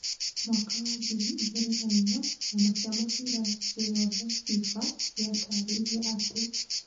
Mwaka wa ngiri igĩrĩ na-inya, kĩama kĩa mũbira thĩ yothe, FIFA, gĩatarĩirie atĩ ;